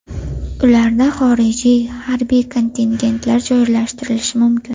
Ularda xorijiy harbiy kontingentlar joylashtirilishi mumkin.